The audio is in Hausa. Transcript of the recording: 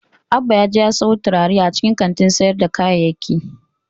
Abbas yaje ya siyo turare a cikin kantin sayar da kayayyaki.